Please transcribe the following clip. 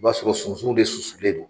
I b'a sɔrɔ sunsunw de susulen don.